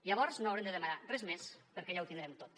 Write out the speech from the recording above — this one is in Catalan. llavors no haurem de demanar res més perquè ja ho tindrem tot